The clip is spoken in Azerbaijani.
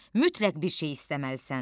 Mütləq bir şey istəməlisən.